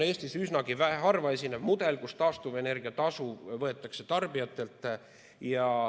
Eestis on üsnagi harvaesinev mudel, kui taastuvenergia tasu võetakse tarbijatelt.